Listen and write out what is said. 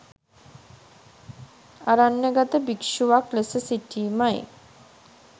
අරණ්‍යගත භික්ෂුවක් ලෙස සිටීමයි